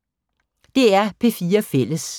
DR P4 Fælles